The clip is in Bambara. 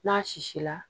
N'a sisi la